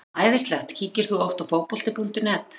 æðisleg Kíkir þú oft á Fótbolti.net?